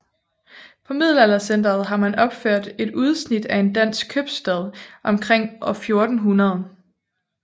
På Middelaldercentret har man opført et udsnit af en dansk købstad omkring år 1400